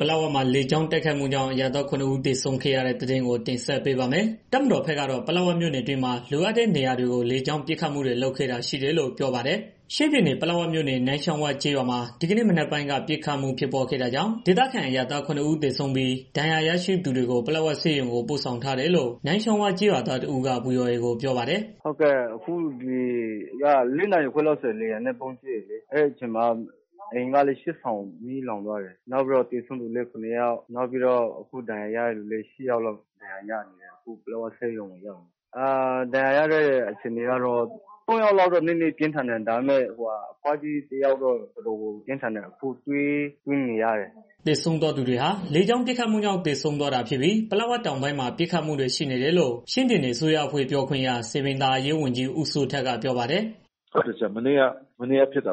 ပလက်ဝမှာ လေကြောင်းတိုက်ခိုက်မှုကြောင့် အရပ်သား ခုနစ် ဦးသေဆုံးခဲ့ရတဲ့ သတင်းကို တင်ဆက်ပေးပါမယ်။ တပ်မတော်ဘက်ကတော့ ပလက်ဝမြို့နယ်အတွင်းမှာ လိုအပ်တဲ့နေရာတွေကို လေကြောင်းပစ်ခတ်မှုတွေ လုပ်ခဲ့တာရှိတယ်လို့ ပြောပါတယ်။ ဗွီအိုအေ မြန်မာပိုင်းသတင်းထောက် ကိုသက်နိုင် သတင်းပေးပို့ထားပါတယ်။ ချင်းပြည်နယ် ပလက်ဝမြို့နယ် နန်းချောင်းဝကျေးရွာမှာ ဒီကနေ့ မနက်ပိုင်းက ပစ်ခတ်မှုဖြစ်ပွားခဲ့တာကြောင့် ဒေသခံ အရပ်သား ခုနစ်ဦးသေဆုံးပြီး ဒဏ်ရာ ရရှိသွားသူတွေကို ပလက်ဝဆေးရုံကို ပို့ဆောင်ထားတယ်လို့ နန်းချောင်းဝ ကျေးရွာသား တစ်ဦးက ဗွီအိုအေကို ပြောပါတယ်။ "ဒီနေ့မနက်က ၄ နာရီခွဲလောက်ဆိုရင်လေယာဉ်နဲ့ ဗုံးကြဲတယ်လေ နေအိမ်က ရှစ် ဆောင်မီးလောင်သွားတယ်။ နောက်ပြီးတော့ သေဆုံးသူလည်း ခုနစ် ယောက်ရှိတယ်။ အခုဒဏ်ရာရတဲ့ သူလည်း ရှစ်ယောက်လောက်ရှိတယ်။ ပလက်ဝဆေးရုံကို ရောက်နေတယ်။ ဒဏ်ရာရတဲ့ သူတွေထဲမှာလည်း သုံးယောက်လောက်ကတော့ ပြင်းထန်တယ်။ အဘွားကြီးတစ်ယောက်ကတော့တော်တော် ပြင်းထန်တယ်။ အခုသွေးသွင်းနေရတယ်။" သေဆုံးသွားသူတွေဟာ လေကြောင်းပစ်ခတ်မှုကြောင့် သေဆုံးသွားတာဖြစ်ပြီး ပလက်ဝတောင်ပိုင်းမှာပစ်ခတ်မှုတွေ ရှိနေတယ်လို့ ချင်းပြည်နယ် အစိုးရအဖွဲ့ ပြောခွင့်ရ စည်ပင်သာယာရေးဝန်ကြီး ဦးစိုးထက်က ပြောပါ တယ်။ "မနေ့က ဖြစ်တာ